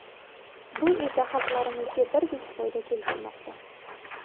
Bu esa xalqlarimizga birdek foyda keltirmoqda.